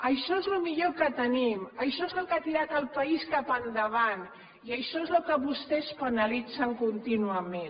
això és el millor que tenim això és el que ha tirat el país cap endavant i això és el que vostès penalitzen contínuament